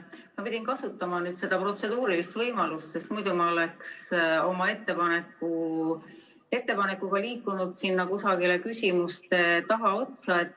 Ma pidin kasutama protseduurilise küsimuse võimalust, sest muidu ma oleksin oma ettepanekuga liikunud sinna kusagile küsimuste tagaotsa.